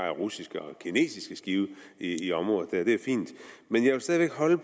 er russiske og kinesiske skibe i området og det er fint men jeg vil stadig væk holde